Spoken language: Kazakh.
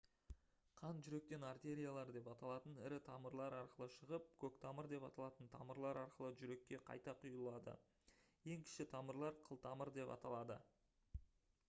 қан жүректен артериялар деп аталатын ірі тамырлар арқылы шығып көктамыр деп аталатын тамырлар арқылы жүрекке қайта құйылады ең кіші тамырлар қылтамыр деп аталады